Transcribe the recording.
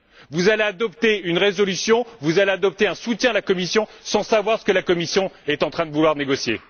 Vous allez adopter une résolution, vous allez apporter un soutien à la Commission, sans savoir ce qu'elle est en train de vouloir négocier.